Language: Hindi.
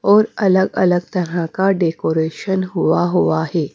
और अलग अलग तरह का डेकोरेशन हुआ होआ है।